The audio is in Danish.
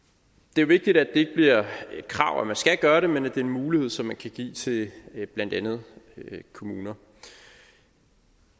det er vigtigt at det ikke bliver et krav at man skal gøre det men at det er en mulighed som man kan give til blandt andet kommuner